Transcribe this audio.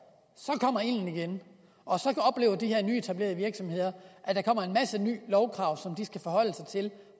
kommer ilden igen og så oplever de her nyetablerede virksomheder at der kommer en masse nye lovkrav som de skal forholde sig til